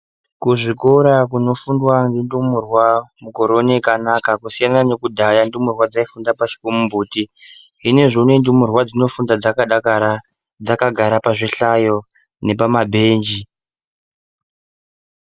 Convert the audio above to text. Ku zvikora kuno fundwa nge ndumurwa mukore une kwakanaka kusiyana ne kudhaya ndumurwa dzai funda pashi pe mumbuti zvinozvi unowu ndumurwa dzino funda dzaka dakara dzaka gara pa zvihlayo nepa mabhenji.